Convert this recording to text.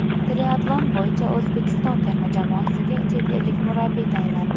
Triatlon bo‘yicha O‘zbekiston terma jamoasiga chet ellik murabbiy tayinlandi.